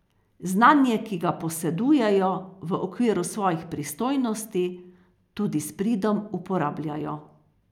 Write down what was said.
Znanje, ki ga posedujejo, v okviru svojih pristojnosti tudi s pridom uporabljajo.